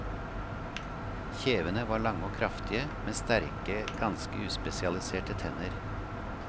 Kjevene var lange og kraftige, med sterke, ganske uspesialiserte tenner.